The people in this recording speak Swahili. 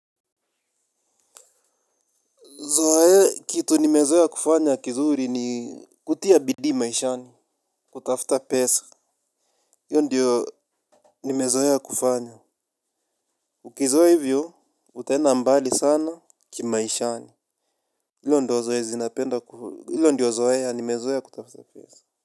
Zoe kitu nimezoea kufanya kizuri ni kutia bidii maishani, kutafuta pesa. Hio diyo nimezoea kufanya. Ukizoea hivyo, utaenda mbali sana kimaisha hio ndio zoezi napenda kuu. Hio ndio zoea nimezoea kutafuta pesa.